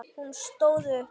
Hún stóð upp.